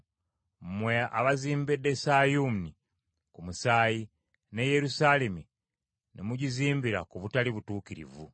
mmwe abazimbidde Sayuuni ku musaayi, Ne Yerusaalemi ne mugizimbira ku butali butuukirivu.